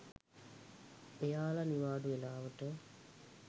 එයාල නිවාඩු වෙලාවට